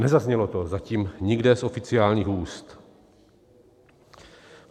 Nezaznělo to zatím nikde z oficiálních úst.